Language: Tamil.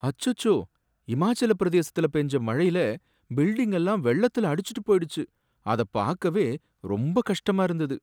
அச்சோ! இமாச்சலப் பிரதேசத்துல பேஞ்ச மழைல பில்டிங் எல்லாம் வெள்ளத்துல அடிச்சுட்டு போயிடுச்சு, அத பாக்கவே ரொம்பக் கஷ்டமா இருந்தது.